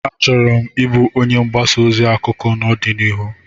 Achọrọ m ịbụ onye mgbasa ozi akụkọ n'ọdịnihu